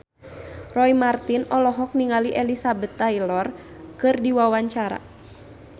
Roy Marten olohok ningali Elizabeth Taylor keur diwawancara